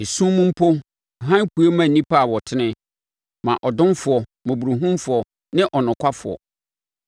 Esum mu mpo hann pue ma nnipa a wɔtene, ma ɔdomfoɔ, mmɔborɔhunufoɔ ne ɔnokwafoɔ.